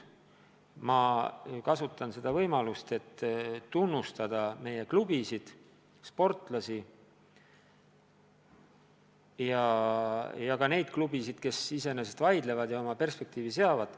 Ma kasutan praegu võimalust, et tunnustada meie sportlasi ja klubisid, ka neid klubisid, kes on oma perspektiive seades vastu vaielnud.